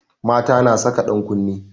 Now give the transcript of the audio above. Mata na saka ɗan kunne